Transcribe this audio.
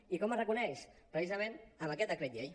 i com es reconeix precisament amb aquest decret llei